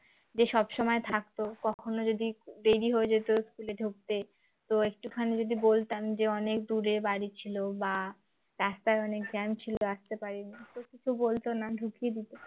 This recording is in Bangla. যে সব সময় থাকতো কখনো যদি দেরী হয়ে যেত school এ ঢুকতে তো একটুখানি যদি বলতাম যে অনেক দূরে বাড়ি ছিল বা রাস্তায় অনেক jam ছিল আসতে পারিনি তো কিছু বলত না ঢুকিয়ে দিত